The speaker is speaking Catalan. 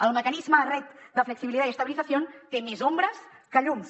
el mecanisme red de flexibilidad y estabilización té més ombres que llums